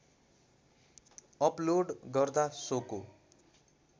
upload गर्दा सोको